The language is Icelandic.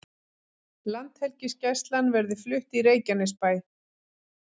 Landhelgisgæslan verði flutt í Reykjanesbæ